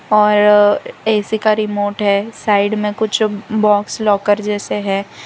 और ए_सी का रिमोट है साइड में कुछ बॉक्स लॉकर जैसे है।